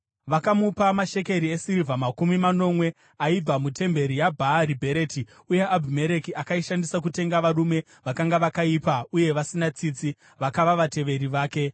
Vakamupa mashekeri esirivha makumi manomwe aibva mutemberi yaBhaari-Bheriti, uye Abhimereki akaishandisa kutenga varume vakanga vakaipa uye vasina tsitsi, vakava vateveri vake.